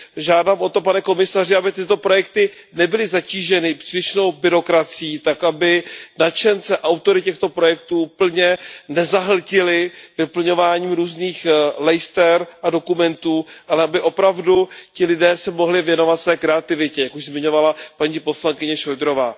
Žádám o to, pane komisaři, aby tyto projekty nebyly zatíženy přílišnou byrokracií tak, aby nadšence, autory těchto projektů plně nezahltily vyplňováním různých lejster a dokumentů, ale aby opravdu ti lidé se mohli věnovat své kreativitě, jak již zmiňovala paní poslankyně Šojdrová.